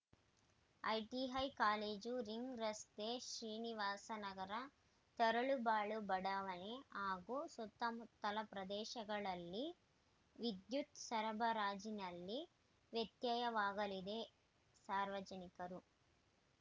ITI college ring ರಸ್ತೆ ಶ್ರೀನಿವಾಸ ನಗರ ತರಳಬಾಳು ಬಡಾವಣೆ ಹಾಗೂ ಸುತ್ತಮುತ್ತಲ ಪ್ರದೇಶಗಳಲ್ಲಿ ವಿದ್ಯುತ್‌ ಸರಬರಾಜಿನಲ್ಲಿ ವ್ಯತ್ಯಯವಾಗಲಿದ್ದು ಸಾರ್ವಜನಿಕರು